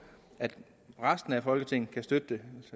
at resten af folketinget kan støtte